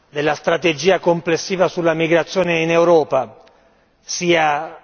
Sassoli se lui ritiene che oggi il problema della strategia complessiva sulla migrazione in Europa sia